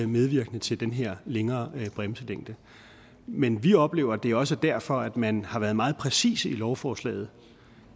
medvirkende til den her længere bremselængde men vi oplever at det også er derfor at man har været meget præcise i lovforslaget